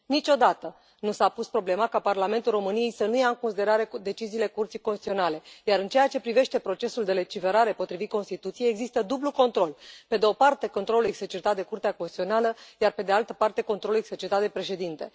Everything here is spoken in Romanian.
Niciodată nu s a pus problema ca Parlamentul României să nu ia în considerare deciziile Curții Constituționale, iar, în ceea ce privește procesul de legiferare, potrivit Constituției, există dublu control pe de o parte, controlul exercitat de Curtea Constituțională, iar, pe de altă parte, controlul exercitat de președinte.